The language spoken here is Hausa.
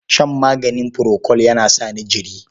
Shan magani furokol yana sa ni jiri.